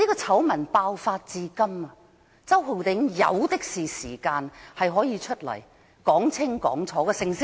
醜聞爆發至今，周浩鼎議員有的是時間，他可以走出來說清楚。